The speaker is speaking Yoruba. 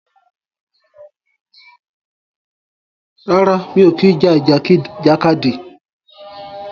Rárá, mi ò kí ń ja ìjàkadì.